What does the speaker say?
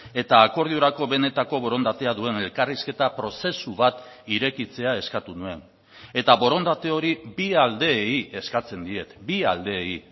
eta akordiorako benetako borondatea duen elkarrizketa prozesu bat irekitzea eskatu nuen eta borondate hori bi aldeei eskatzen diet bi aldeei